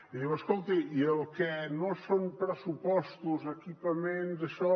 i diu escolti i el que no són pressupostos equipaments daixò